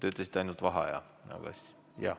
Te ütlesite ainult, et vaheaja.